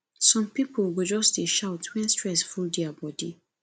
some pipo go just dey shout wen stress full their bodi